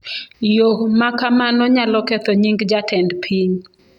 Yo ma kamano nyalo ketho nying’ jatend piny.